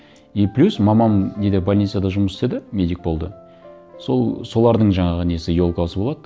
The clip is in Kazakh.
и плюс мамам неде больницада жұмыс істеді медик болды солардың жаңағы несі елкасы болады